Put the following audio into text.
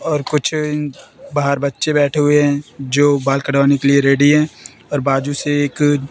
और कुछ बाहर बच्चे बैठे हुए हैं जो बाल कटवाने के लिए रेडी हैं और बाजू से एक--